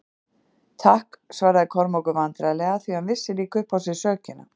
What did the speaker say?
Takk, svaraði Kormákur vandræðlega, því hann vissi líka upp á sig sökina.